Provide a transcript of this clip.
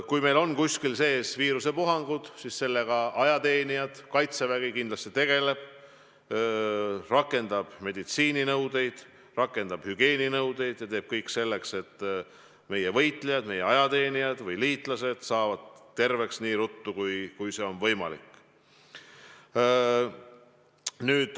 Kui meil on kuskil viirusepuhangud, siis sellega Kaitsevägi kindlasti tegeleb, rakendab meditsiininõudeid, rakendab hügieeninõudeid ja teeb kõik selleks, et meie võitlejad, meie ajateenijad või liitlased saaksid terveks nii ruttu, kui see on võimalik.